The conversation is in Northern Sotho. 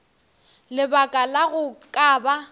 lebaka la go ka ba